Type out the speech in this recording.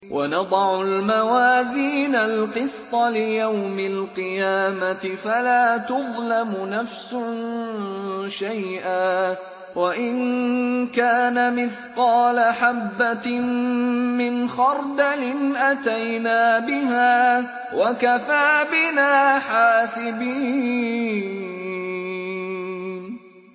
وَنَضَعُ الْمَوَازِينَ الْقِسْطَ لِيَوْمِ الْقِيَامَةِ فَلَا تُظْلَمُ نَفْسٌ شَيْئًا ۖ وَإِن كَانَ مِثْقَالَ حَبَّةٍ مِّنْ خَرْدَلٍ أَتَيْنَا بِهَا ۗ وَكَفَىٰ بِنَا حَاسِبِينَ